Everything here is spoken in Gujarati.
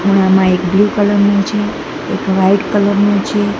ખૂણામાં એક બ્લુ કલર નું છે એક વાઈટ કલર નું છે.